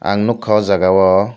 ang nogka o jaga o.